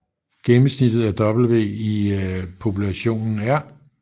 Gennemsnittet af W i populationen er